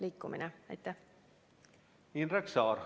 Indrek Saar, palun!